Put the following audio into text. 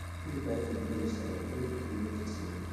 if you buy food no waste am many people no get enough